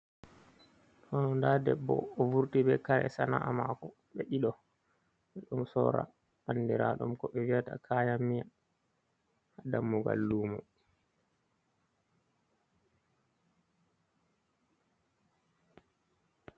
To ndaa debbo, o vurti be kare sana’a maako, ɓe ɗiɗo ɓe ɗon sorra anndiraaɗum, ko ɓe vi'ata kayan miya, haa dammugal luumo.